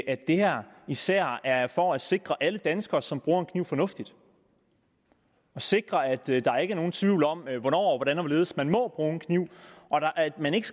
at det her især er for at sikre alle danskere som bruger en kniv fornuftigt sikre at der ikke er nogen tvivl om hvornår hvordan og hvorledes man må bruge en kniv og at man ikke